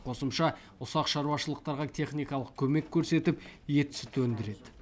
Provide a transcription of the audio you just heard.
қосымша ұсақ шаруашылықтарға техникалық көмек көрсетіп ет сүт өндіреді